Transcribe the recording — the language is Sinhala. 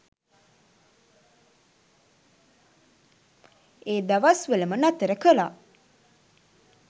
ඒ දවස්වලම නතර කරා.